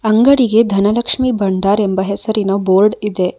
ಅಂಗಡಿಗೆ ಧನಲಕ್ಷ್ಮಿ ಭಂಡಾರ್ ಎಂಬ ಹೆಸರಿನ ಬೋರ್ಡ ಇದೆ.